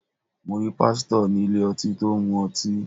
Mo rí Pásítọ̀ ní ilé ọtí tó ń mu ọtí.